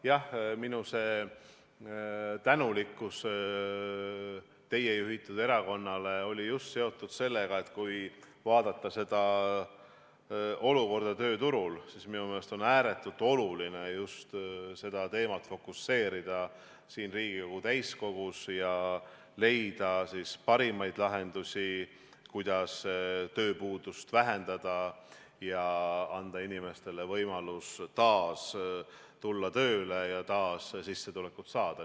Jah, minu tänulikkus teie juhitud erakonna suhtes oli seotud just sellega, et kui vaadata olukorda tööturul, siis minu meelest on ääretult oluline seda teemat fokuseerida siin Riigikogu täiskogus ja leida parimaid lahendusi, kuidas tööpuudust vähendada ja anda inimestele võimalus taas tulla tööle ja taas sissetulekut saada.